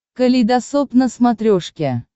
калейдосоп на смотрешке